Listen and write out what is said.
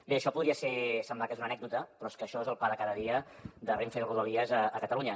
bé això podria semblar que és una anècdota però és que això és el pa de cada dia de renfe i de rodalies a catalunya